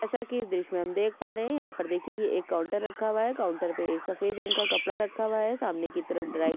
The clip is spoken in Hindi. येसा की इस दृश मे हम देक पारे यहापर देखीए ये एक काऊंटर पे एक सफेद रंग का कपडा रखा हुआ है सामने की तरफ ड्राय --